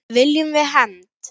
Viljum við hefnd?